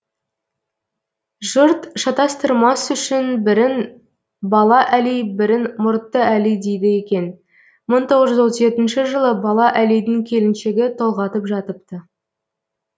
жұрт шатастырмас үшін бірін бала әли бірін мұртты әли дейді екен мың тоғыз жүз отыз жетінші жылы бала әлидің келіншегі толғатып жатыпты